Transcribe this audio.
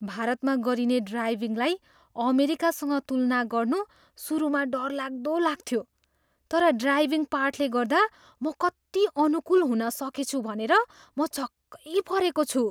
भारतमा गरिने ड्राइभिङलाई अमेरिकासँग तुलना गर्नु सुरुमा डरलाग्दो लाग्थ्यो, तर ड्राइभिङ पाठले गर्दा, म कति अनुकूल हुन सकेछु भनेर म छक्कै परेको छु!